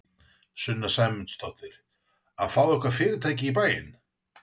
Sunna Sæmundsdóttir: Að fá eitthvað fyrirtæki í bæinn?